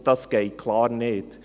Das geht eindeutig nicht.